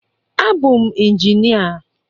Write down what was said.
A bụ m njinịa